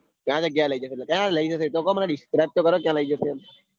ક્યાં જગ્યાય ક્યારે લઇ જશે મને disrespect તો કરો ક્યાં લઇ જશે એમ